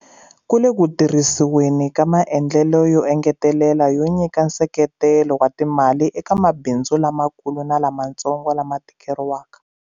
Ku le ku tirhisiweni ka maendlelo yo engetela yo nyika nseketelo wa timali eka mabindzu lamakulu na lamatsongo lama tikeriwaka.